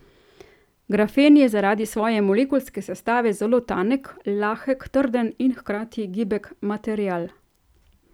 Grafen je zaradi svoje molekulske sestave zelo tanek, lahek, trden in hkrati gibek material.